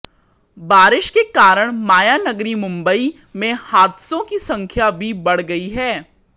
बारिश के कारण मायानगरी मुंबई में हादसों की संख्या भी बढ़ गई है